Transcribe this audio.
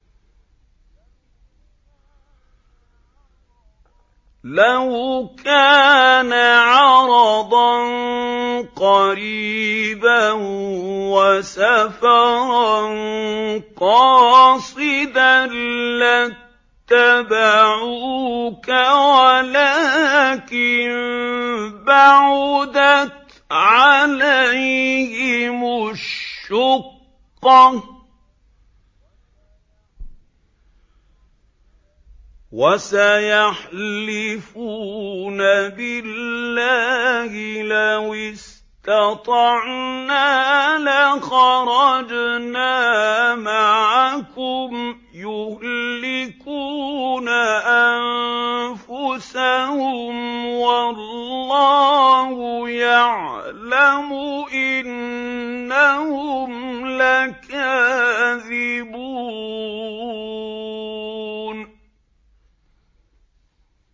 لَوْ كَانَ عَرَضًا قَرِيبًا وَسَفَرًا قَاصِدًا لَّاتَّبَعُوكَ وَلَٰكِن بَعُدَتْ عَلَيْهِمُ الشُّقَّةُ ۚ وَسَيَحْلِفُونَ بِاللَّهِ لَوِ اسْتَطَعْنَا لَخَرَجْنَا مَعَكُمْ يُهْلِكُونَ أَنفُسَهُمْ وَاللَّهُ يَعْلَمُ إِنَّهُمْ لَكَاذِبُونَ